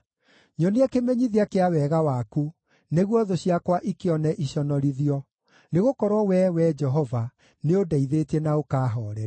Nyonia kĩmenyithia kĩa wega waku, nĩguo thũ ciakwa ikĩone iconorithio, nĩgũkorwo Wee, Wee Jehova, nĩũndeithĩtie na ũkaahooreria.